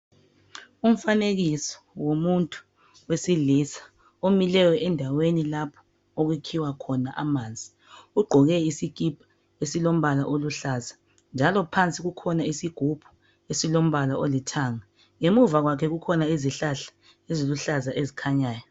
umfanekiso womuntu wesilisa omileyo endaweni lapho okukhiwa khona amanzi ugqoke isikipa esilombala oluhlaza njalo phansi kukhona isigubhu esilombala olithanga ngemuva kukhona izihlahla eziluhlaza ezikhanyayo